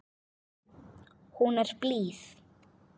Hún er blíð.